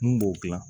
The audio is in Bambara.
Mun b'o gilan